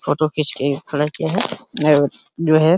photo खीच के खड़ा किया है और जो है --